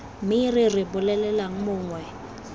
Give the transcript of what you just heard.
me re re bolelelang mongwe